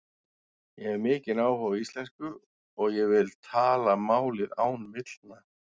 Ég hef mikinn áhuga á íslensku og ég vil tala málið án villna.